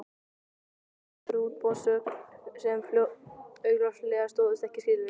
En fengu einhverjir útboðsgögn sem augljóslega stóðust ekki skilyrðin?